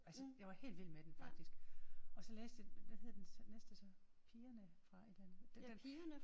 Altså jeg var helt vild med den faktisk. Og så læste jeg hvad hed den næste så? Pigerne fra et eller andet den der